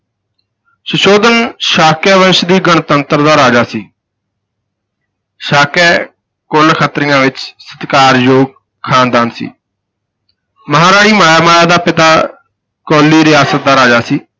ਸੁਧੋਧਨ ਸਾਕਯਵੰਸ਼ ਦੀ ਗਣਤੰਤਰ ਦਾ ਰਾਜਾ ਸੀ ਸਾਕਯ ਕੁਲ ਖੱਤਰੀਆਂ ਵਿਚ ਸਤਿਕਾਰਯੋਗ ਖ਼ਾਨਦਾਨ ਸੀ ਮਹਾਰਾਣੀ ਮਹਾਂਮਾਇਆ ਦਾ ਪਿਤਾ ਕੋਲੀ ਰਿਆਸਤ ਦਾ ਰਾਜਾ ਸੀ